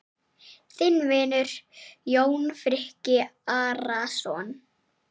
Þinn vinur, Jón Friðrik Arason.